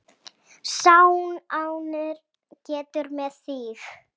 Sá er ánægður með þig!